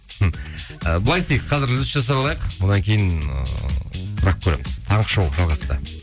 і былай істейік қазір үзіліс жасап алайық одан кейін ыыы сұрап көреміз таңғы шоу жалғасуда